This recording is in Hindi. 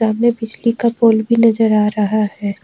हमे बिजली का पोल भी नजर आ रहा है।